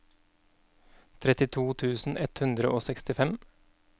trettito tusen ett hundre og sekstifem